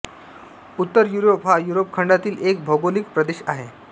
उत्तर युरोप हा युरोप खंडातील एक भौगोलिक प्रदेश आहे